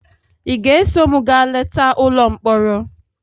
Ị ga-eso m gaa leta ụlọ mkpọrọ?